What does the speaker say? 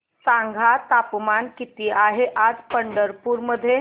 सांगा तापमान किती आहे आज पंढरपूर मध्ये